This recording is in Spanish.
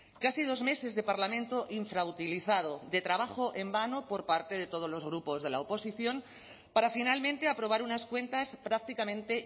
casi dos meses de parlamento infrautilizado de trabajo en vano por parte de todos los grupos de la oposición para finalmente aprobar unas cuentas prácticamente